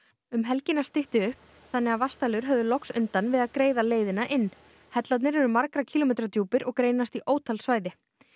um helgina stytti upp þannig að vatnsdælur höfðu loks undan við að greiða leiðina inn hellarnir eru margra kílómetra djúpir og greinast í ótal svæði